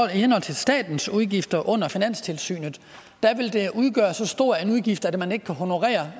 henhold til statens udgifter under finanstilsynet vil det udgøre så stor en udgift at man ikke kan honorere